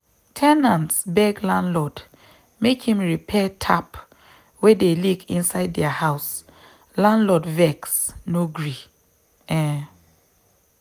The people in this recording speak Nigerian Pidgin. ten nants beg landlord make him repair tap wey dey leak inside their house landlord vex no gree. um